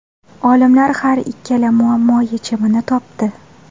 Olimlar har ikkala muammo yechimini topdi.